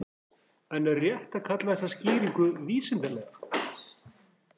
En er rétt að kalla þessa skýringu vísindalega?